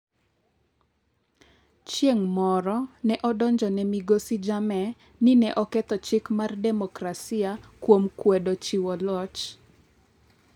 Chieng’ moro ne odonjone migosi Jammeh ni ne oketho chik mar demokrasia kuom kwedo chiwo loch.